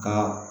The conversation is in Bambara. Ka